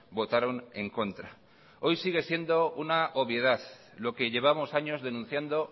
votaron en contra hoy sigue siendo una obviedad lo que llevamos años denunciando